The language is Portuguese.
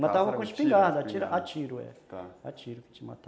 Matava com espingarda, a tiro, a tiro que a gente matava.